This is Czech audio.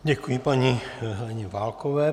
Děkuji paní Heleně Válkové.